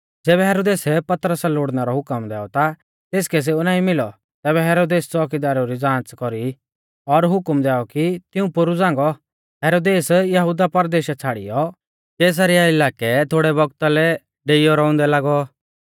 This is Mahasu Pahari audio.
ज़ैबै हेरोदेसै पतरसा लोड़णै रौ हुकम दैऔ ता तेसकै सेऊ नाईं मिलौ तैबै हेरोदेसै च़ोअकीदारु री ज़ांच़ कौरी और हुकम दैऔ कि तिऊं पोरु झ़ांगौ हेरोदेस यहुदिया परदेशा छ़ाड़ियौ कैसरिया इलाकै थोड़ै बौगता लै डेइयौ रौउंदै लागौ